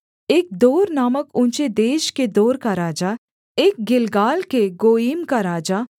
एक दोर नामक ऊँचे देश के दोर का राजा एक गिलगाल के गोयीम का राजा